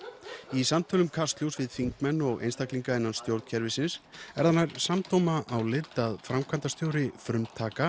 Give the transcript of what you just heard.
í samtölum Kastljóss við þingmenn og einstaklinga innan stjórnkerfisins er það nær samdóma álit að framkvæmdastjóri frumtaka